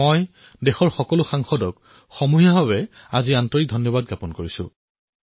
মই দেশৰ সকলো সাংসদক সাৰ্বজনিক ৰূপত হৃদয়েৰে ধন্যবাদ জ্ঞাপন কৰিছোঁ